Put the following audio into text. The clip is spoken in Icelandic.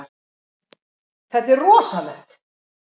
Þetta er rosalegt.